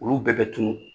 Olu bɛɛ bɛ tunun